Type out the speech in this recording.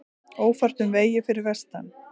Ófært um vegi fyrir vestan